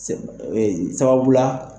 Sɛ ba dɔ we ye sababula.